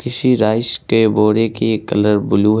किसी राइस के बोरे की कलर ब्लू है|